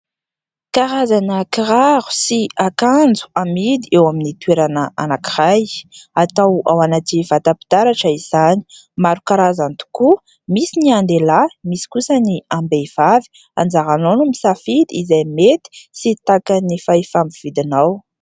Karazana kiraro sy akanjo amidy eo amin'ny toerana anankiray. Atao ao anaty vata-pitaratra izany. Maro karazany tokoa, misy ny an-delahy misy kosa ny am-behivavy. Anjaranao no misafidy izay mety sy takan'ny fahefa-ny vidinao.